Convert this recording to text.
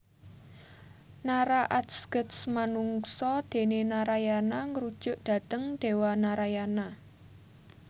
Nara atsges manungsa déné Narayana Ngrujuk dhateng Déwa Narayana